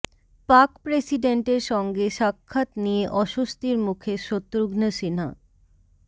পাক প্রেসিডেন্টের সঙ্গে সাক্ষাৎ নিয়ে অস্বস্তির মুখে শত্রুঘ্ন সিন্হা